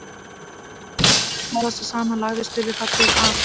Þegar þeir höfðu talað sig saman lagði Stulli það til að